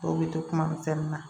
Dɔw bɛ to kuma misɛnnin na